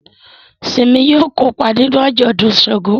Simi yóò kópa nínú ajọdun ṣàngó